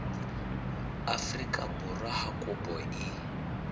afrika borwa ha kopo e